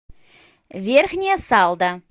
верхняя салда